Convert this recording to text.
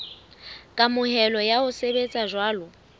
kamohelo ya ho sebetsa jwalo